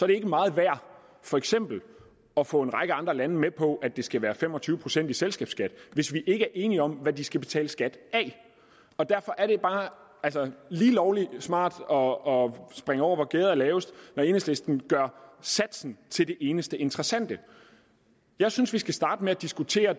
det ikke meget værd for eksempel at få en række andre lande med på at det skal være fem og tyve procent i selskabsskat hvis vi ikke er enige om hvad de skal betale skat af derfor er det bare lige lovlig smart og at springe over hvor gærdet er lavest når enhedslisten gør satsen til det eneste interessante jeg synes vi skal starte med at diskutere